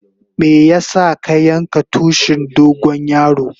Meya sa ka yanka tushin dogo yaro?